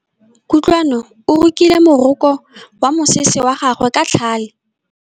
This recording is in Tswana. Kutlwanô o rokile morokô wa mosese wa gagwe ka tlhale.